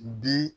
Bi